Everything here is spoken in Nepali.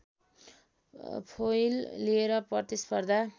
फोइल लिएर प्रतिस्पर्धा